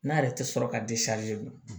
N'a yɛrɛ tɛ sɔrɔ ka di dun